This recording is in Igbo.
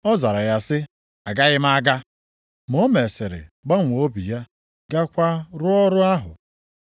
“Ọ zara ya sị, ‘Agaghị m aga.’ Ma o mesịrị gbanwee obi ya gaakwa rụọ ọrụ ahụ.